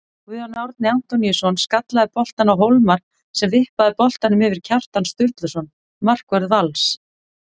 Guðjón Árni Antoníusson skallaði boltann á Hólmar sem vippaði boltanum yfir Kjartan Sturluson markvörð Vals.